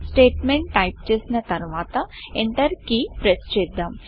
statement type చేసిన తర్వాత enter key press చేద్దాం